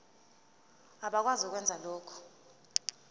abakwazi ukwenza lokhu